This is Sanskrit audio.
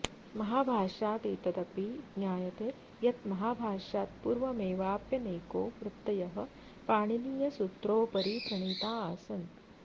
महाभाष्यादेतदपि ज्ञायते यद् महाभाष्यात्पूर्वमेवाप्यनेको वृत्तयः पाणिनीयसूत्रोपरि प्रणीता आसन्